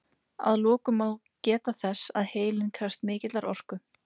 Að lokum má geta þess að heilinn krefst mikillar orku.